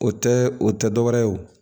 O tɛ o tɛ dɔ wɛrɛ ye o